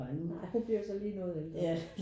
Nej hun bliver jo så lige noget ældre